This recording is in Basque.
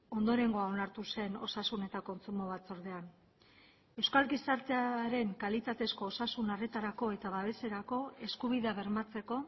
ondorengoa onartu zen osasun eta kontsumo batzordean euskal gizartearen kalitatezko osasun arretarako eta babeserako eskubidea bermatzeko